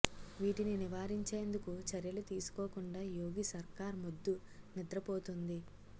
వీటిని నివారించేందుకు చర్యలు తీసుకోకుండా యోగి సర్కార్ మొద్దు నిద్ర పోతోంది